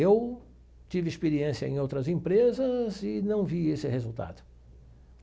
Eu tive experiência em outras empresas e não vi esse resultado.